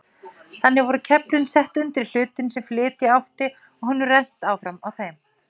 Þannig voru keflin sett undir hlutinn sem flytja átti og honum rennt áfram á þeim.